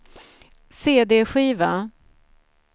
cd-skiva